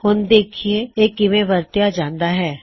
ਹੁਣ ਦੇਖਿਏ ਇਹ ਕਿਵੇ ਵਰਤਿਆ ਜਾਂਦਾ ਹਾਂ